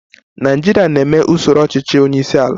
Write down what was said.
Nigeria na-eme usoro ọchịchị onye isi ala